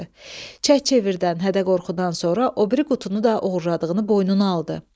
Çək çevirdən, hədə-qorxudan sonra o biri qutunu da oğurladığını boynuna aldı.